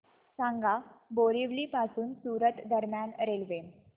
सांगा बोरिवली पासून सूरत दरम्यान रेल्वे